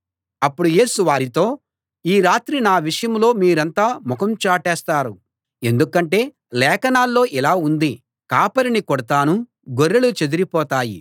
అప్పుడు యేసు వారితో ఈ రాత్రి నా విషయంలో మీరంతా నాకు ముఖం చాటేస్తారు ఎందుకంటే లేఖనాల్లో ఇలా ఉంది కాపరిని కొడతాను గొర్రెలు చెదరిపోతాయి